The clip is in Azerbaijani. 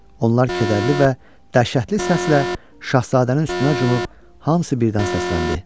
Onlar kədərli və dəhşətli səslə şahzadənin üstünə cumub hamısı birdən səsləndi: